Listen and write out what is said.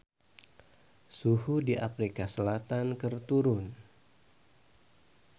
Suhu di Afrika Selatan keur turun